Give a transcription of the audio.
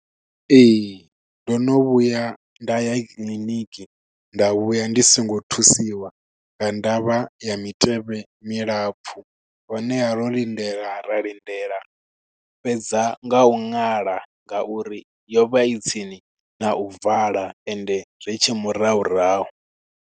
Ee, ndo no vhuya nda ya kiḽiniki nda vhuya ndi songo thusiwa, nga ndavha ya mitevhe milapfu. Honeha ro lindela ra lindela, fhedza nga u ṅala ngauri yo vha i tsini na u vala, ende ri tshe murahurahu.